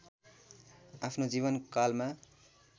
आफ्नो जीवनकालमा